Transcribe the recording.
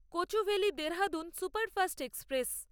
Kochuveli Dehradun superfast express